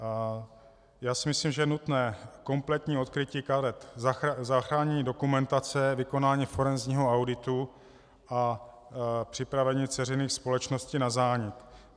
Já si myslím, že je nutné kompletní odkrytí karet, zachránění dokumentace, vykonání forenzního auditu a připravení dceřiných společností na zánik.